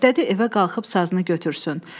İstədi evə qalxıb sazını götürsün.